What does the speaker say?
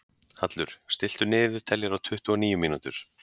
Hallur, stilltu niðurteljara á tuttugu og níu mínútur.